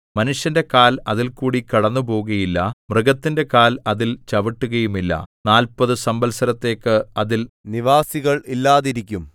മനുഷ്യന്റെ കാൽ അതിൽകൂടി കടന്നുപോകുകയില്ല മൃഗത്തിന്റെ കാൽ അതിൽ ചവിട്ടുകയുമില്ല നാല്പതു സംവത്സരത്തേക്ക് അതിൽ നിവാസികൾ ഇല്ലാതെയിരിക്കും